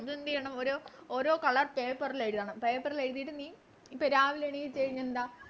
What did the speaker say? അതെന്തെയ്യണം ഒരു ഓരോ Colour paper ൾ എഴുതണം Paper ൽ എഴുതിട്ട് നീ രാവിലെ എണീച്ച് കഴിഞ്ഞെന്ത